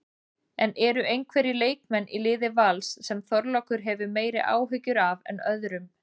En eru einhverjir leikmenn í liði Vals sem Þorlákur hefur meiri áhyggjur af en öðrum?